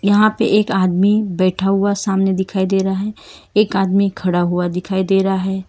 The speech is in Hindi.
यहां पे एक आदमी बैठा हुआ सामने दिखाई दे रहा हैं एक आदमी खड़ा हुआ दिखाई दे रहा हैं।